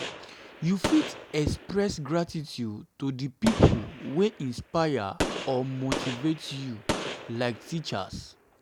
you fit express gratitude to di people wey inspire or motivate you like teachers.